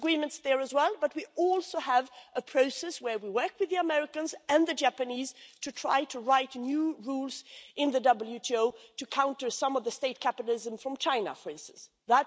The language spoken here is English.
have disagreements there as well, but we also have a process where we work with the Americans and the Japanese to try to write new WTO rules in order to counter some of the state capitalism from China, for instance.